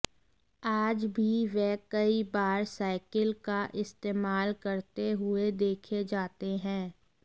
आज भी वे कई बार साइकिल का इस्तेमाल करते हुए देखे जाते हैं